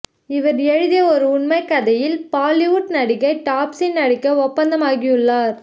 இவர் எழுதிய ஒரு உண்மைகதையில் பாலிவுட் நடிகை டாப்ஸி நடிக்க ஒப்பந்தமாகியுள்ளார்